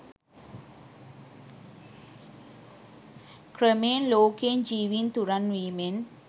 ක්‍රමයෙන් ලෝකයෙන් ජීවින් තුරන් වීමෙන්